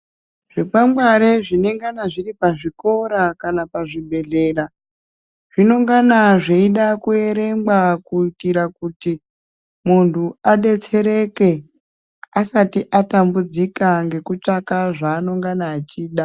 Zvikwangwari zvinenge zviri pazvikora ka a pazvibhedhlera zvinongana zveyida kuerengwa kuitira kuti muntu adetsereke asati atambudzika ngeku tsvaka zvanenge achida.